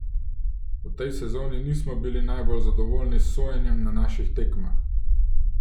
V tej sezoni nismo bili najbolj zadovoljni s sojenjem na naših tekmah.